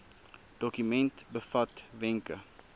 dokument bevat wenke